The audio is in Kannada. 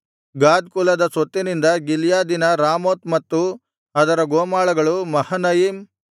ಗಾದ್ ಕುಲದ ಸ್ವತ್ತಿನಿಂದ ಗಿಲ್ಯಾದಿನ ರಾಮೋತ್ ಮತ್ತು ಅದರ ಗೋಮಾಳಗಳು ಮಹನಯಿಮ್